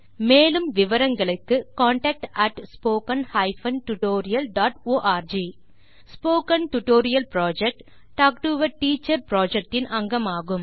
மேலும் விவரங்களுக்கு contactspoken tutorialorg spoken tutorial project talk to a teacher project இன் அங்கமாகும்